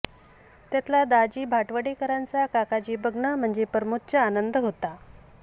त्यातला दाजी भाटवडेकरांचा काकाजी बघणं म्हणजे परमोच्च आनंद होता